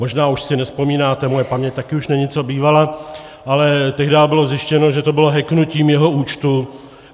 Možná už si nevzpomínáte, moje paměť taky už není co bývala, ale tehdá bylo zjištěno, že to bylo hacknutím jeho účtu.